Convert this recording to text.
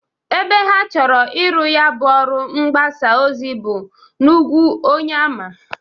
Ebe ha chọrọ iru ya bụ ọrụ mgbasa ozi bụ n'ugwu Onyeama.